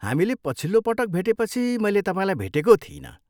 हामीले पछिलो पटक भेटेपछि मैले तपाईँलाई भेटेको थिइनँ।